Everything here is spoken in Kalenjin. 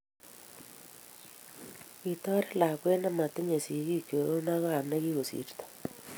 Kitorit lakwet ne motingei sigiik choronoikab ne kikosirto.